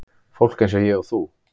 Fólk eins og ég og þú.